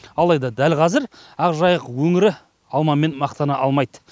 алайда дәл қазір ақжайық өңірі алмамен мақтана алмайды